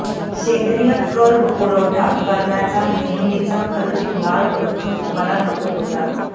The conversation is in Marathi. सेंद्रिय कर्ब पुरवठा करण्याचा नेहमीचा खर्चिक मार्ग मला नको होता